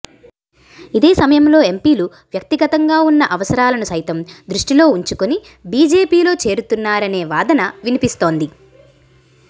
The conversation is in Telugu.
ఇదే సమయంలో ఎంపీలు వ్యక్తిగతంగా ఉన్న అవసరాలను సైతం దృష్టిలో ఉంచుకొని బీజేపీలో చేరుతున్నారనే వాదన వినిపిస్తోంది